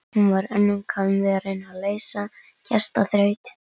Hún var önnum kafin við að reyna að leysa gestaþraut.